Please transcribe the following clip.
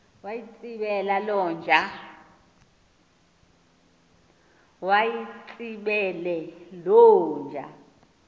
mayitsibele loo nja